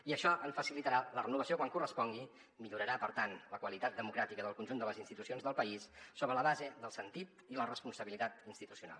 i això en facilitarà la renovació quan correspongui i millorarà per tant la qualitat democràtica del conjunt de les institucions del país sobre la base del sentit i la responsabilitat institucional